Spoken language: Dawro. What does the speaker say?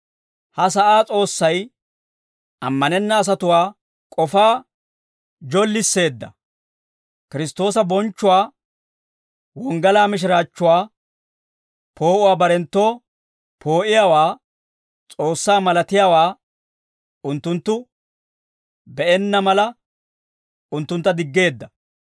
Ha sa'aa s'oossay ammanenna asatuwaa k'ofaa jollisseedda; Kiristtoosa bonchchuwaa, wonggalaa mishiraachchuwaa poo'uwaa barenttoo poo'iyaawaa, S'oossaa malatiyaawaa unttunttu be'enna mala, unttuntta diggeedda.